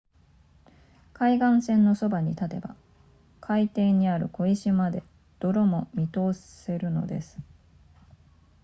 海岸線のそばに立てば海底にある小石まで泥も見通せるのです